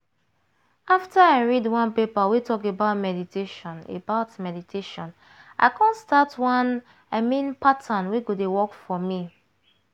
after i read one paper wey talk about meditation about meditation i come start one i mean pattern wey go dey work for me.